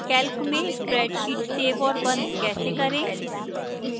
calc में spreadsheet save और बंद कैसे करें